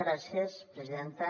gràcies presidenta